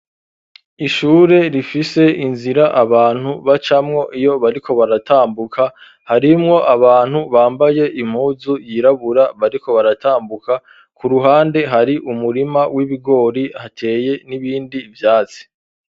Ishure rifise inzira abantu bacamwo, iyo bariko baratambuka, harimwo abantu bambaye impuzu yirabura, bariko baratambuka; ku ruhande hari umurima w'ibigori, hateye n'ibindi vyatsi.